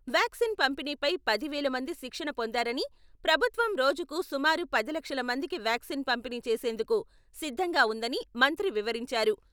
Vaccine పంపిణీపై పది వేల మంది శిక్షణ పొందారని, ప్రభుత్వం రోజుకు సుమారు పది లక్షల మందికి వ్యాక్సిన్ పంపిణీ చేసేందుకు సిద్ధంగా ఉందని మంత్రి వివరించారు.